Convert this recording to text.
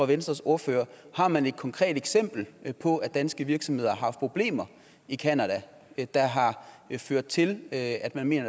venstres ordfører har man et konkret eksempel på at danske virksomheder har haft problemer i canada der har ført til at man mener